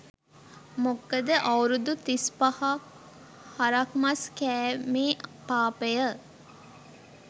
මොකද අවුරුදු තිස් පහක් හරක් මස් කෑමේ පාපය